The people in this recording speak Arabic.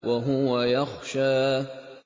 وَهُوَ يَخْشَىٰ